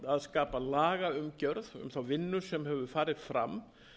að skapa lagaumgjörð um þá vinnu sem hefur farið fram